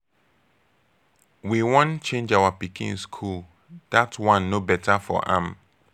we wan change our pikin school dat one no beta for am.